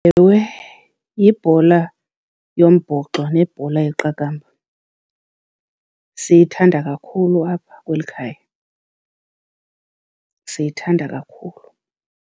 Ewe, yibhola yombhoxo nebhola yeqakamba. Siyithanda kakhulu apha kweli khaya, siyithanda kakhulu.